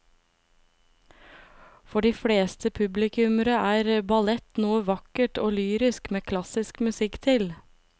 For de fleste publikummere er ballett noe vakkert og lyrisk med klassisk musikk til.